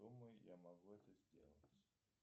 думаю я могу это сделать